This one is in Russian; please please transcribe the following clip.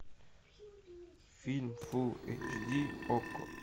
фильм фул эйч ди окко